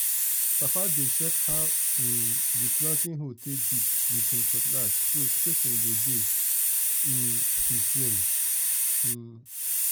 papa dey check how um the planting hole take dip with him cutlass so spacing go dey um the same. um